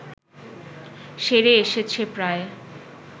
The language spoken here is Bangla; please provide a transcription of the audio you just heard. সেরে এসেছে প্রায়